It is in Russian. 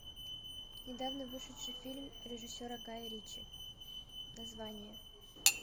недавно вышедший фильм режиссера гая ричи название